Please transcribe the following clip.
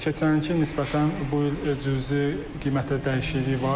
Keçən ilə nisbətən bu il cüzi qiymətdə dəyişiklik var.